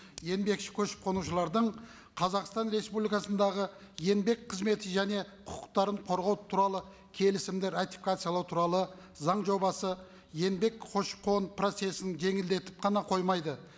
еңбекші көшіп қонушылардың қазақстан республикасындағы еңбек қызметі және құқықтарын қорғау туралы келісімді ратификациялау туралы заң жобасы еңбек көші қон процессін жеңілдетіп қана қоймайды